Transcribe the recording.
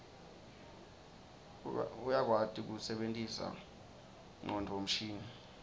uyakwati kuse bentisa ngonduo mshini